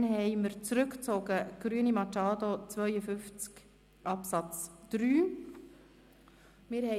Dann wurde der Antrag Grüne/Machado zu Artikel 52 Absatz 3 zurückgezogen.